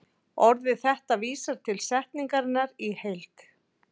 Orðið þetta vísar til setningarinnar í heild.